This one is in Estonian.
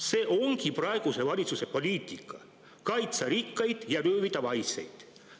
See ongi praeguse valitsuse poliitika: kaitsta rikkaid ja röövida vaeseid.